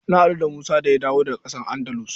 Na haɗu da Musa da ya daga ƙasar Andalus.